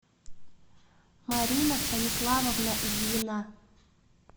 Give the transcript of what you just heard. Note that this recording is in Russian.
марина станиславовна ильина